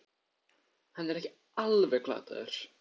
Hann er þá ekki alveg glataður!